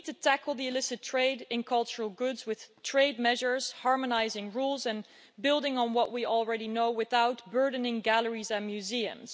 We need to tackle the illicit trade in cultural goods with trade measures and by harmonising rules and building on what we already know without burdening galleries and museums.